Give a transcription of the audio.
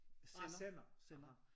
Sender sender